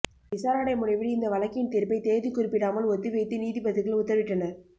விசாரணை முடிவில் இந்த வழக்கின் தீர்ப்பை தேதி குறிப்பிடாமல் ஒத்திவைத்து நீதிபதிகள் உத்தரவிட்டனர்